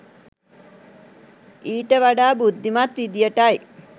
ඊට වඩා බුද්ධිමත් විදියටයි